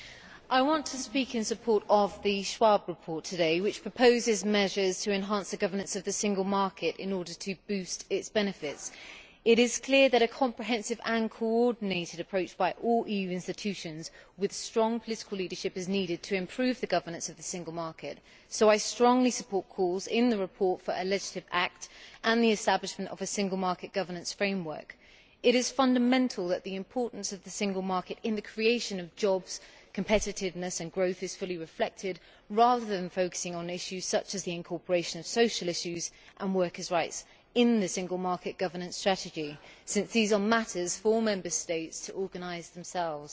Madam President, I want to speak in support of the Schwab report today, which proposes measures to enhance the governance of the single market in order to boost its benefits. It is clear that a comprehensive and coordinated approach by all EU institutions, with strong political leadership, is needed to improve the governance of the single market, so I strongly support calls in the report for a legislative act and the establishment of a single market governance framework. It is fundamental that the importance of the single market in the creation of jobs, competitiveness and growth is fully reflected, rather than focusing on issues such as the incorporation of social issues and workers rights in the single market governance strategy, since these are matters for all Member States to organise themselves.